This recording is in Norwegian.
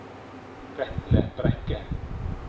Vetle Brekke